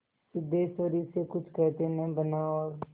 सिद्धेश्वरी से कुछ कहते न बना और